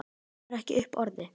Kemur ekki upp orði.